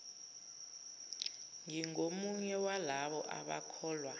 ngingomunye walabo abakholwa